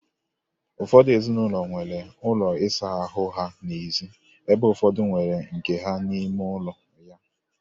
Ụfọdụ ezinụlọ nwere ụlọ ịsa ahụ ha n'ezi ebe ụfọdụ nwere nke ha n'ime ụlọ ha.